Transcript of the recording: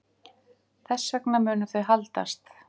Þess vegna munu þau haldast.